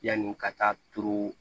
Yanni ka taa turu